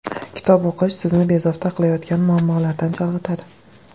Kitob o‘qish sizni bezovta qilayotgan muammolardan chalg‘itadi.